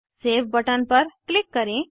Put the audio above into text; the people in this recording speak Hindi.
सेव बटन पर क्लिक करें